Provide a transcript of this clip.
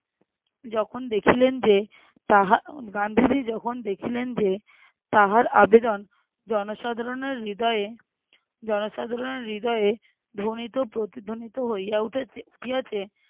যখন দেখিলেন যে তাহা গান্ধীজী যখন দেখিলেন যে তাহার আবেদন জনসাধারণের হৃদয়ে জনসাধারণের হৃদয়ে ধ্বনিত প্রতিধ্বনিত হইয়া উঠেছে উঠিয়াছে